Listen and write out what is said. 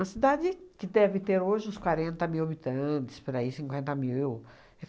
uma cidade que deve ter hoje uns quarenta mil habitantes, por aí, cinquenta mil.